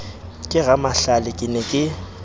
ke ramahlale ke ne ke